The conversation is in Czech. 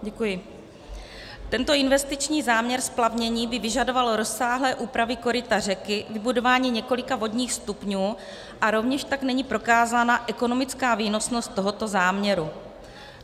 Tento investiční záměr splavnění by vyžadoval rozsáhlé úpravy koryta řeky, vybudování několika vodních stupňů a rovněž tak není prokázána ekonomická výnosnost tohoto záměru.